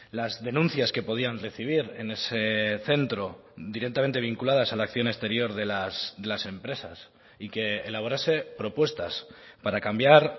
las denuncias que podían recibir en ese centro directamente vinculadas a la acción exterior de las empresas y que elaborase propuestas para cambiar